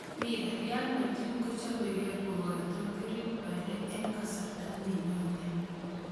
(Mirror) Real Madrid bkochopekee kongetu Gareth Bale eng kasarta ne nyone.